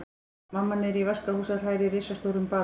Mamma niðri í vaskahúsi að hræra í risastórum bala.